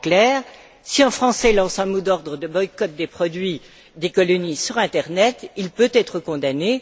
En clair, si un Français lance un mot d'ordre de boycott des produits des colonies sur internet, il peut être condamné